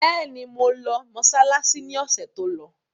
Bẹ́ẹ̀ni, mo lọ mọsálásí ni ọ̀sẹ̀ tó lọ.